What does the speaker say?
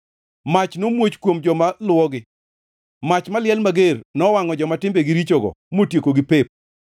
Mach nomuoch kuom joma luwogi; mach maliel mager nowangʼo joma timbegi richogo motiekogi pep.